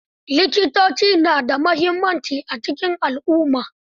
Likitoci na da mimuhimmaci a cikin alumma